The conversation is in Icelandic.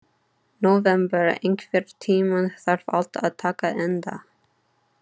Nóvember, einhvern tímann þarf allt að taka enda.